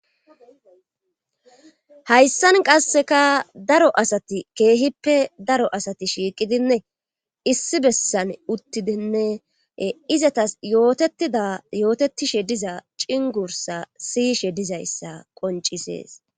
Hayssan qasseka daro asati keehippe daro asati shiiqidinne issi bessan uttidinne izatas yootetida yootetishe diza cingursa siyishe dizayssa qoncisees.